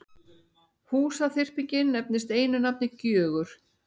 Húsaþyrpingin nefnist einu nafni Gjögur.